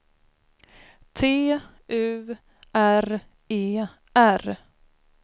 T U R E R